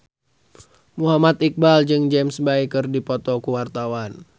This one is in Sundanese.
Muhammad Iqbal jeung James Bay keur dipoto ku wartawan